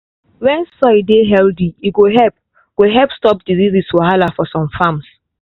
when soil dey healthy e go help go help stop disease wahala for some farms.